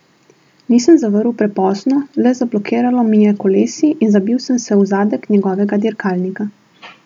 Nisem zavrl prepozno, le zablokiralo mi je kolesi in zabil sem se v zadek njegovega dirkalnika.